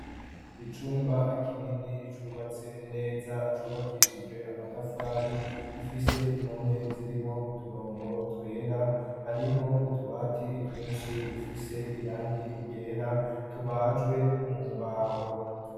Icumba kinini cubatse neza, acubakishije amatafari, gifise impome zirimwo uturongo twera, harimwo utubati twinshi dufise irangi ryera, tubajwe mu mbaho.